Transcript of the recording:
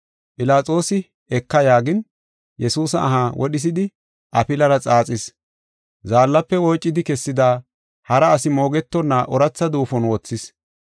Philaxoosi eka yaagin, Yesuusa aha wodhisidi afilara xaaxis. Zaallafe woocidi kessida hara asi moogetonna ooratha duufon wothis.